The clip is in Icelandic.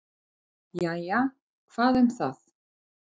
"""Jæja, hvað um það."""